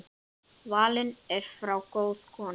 Fallin er frá góð kona.